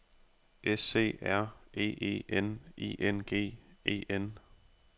S C R E E N I N G E N